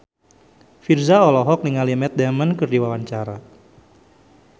Virzha olohok ningali Matt Damon keur diwawancara